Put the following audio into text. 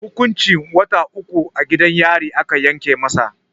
Hukuncin wata uku a gidan yari aka yanke masa.